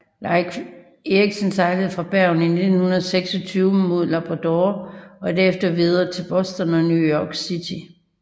Leif Erikson sejlede fra Bergen i 1926 mod Labrador og derefter videre til Boston og New York City